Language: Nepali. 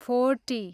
फोर्टी